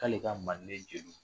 K'ale ka manden jeliw